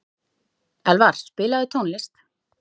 Elvar, spilaðu tónlist.